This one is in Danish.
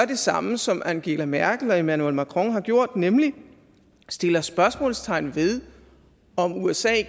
det samme som angela merkel og emmanuel macron har gjort nemlig sætter spørgsmålstegn ved om usa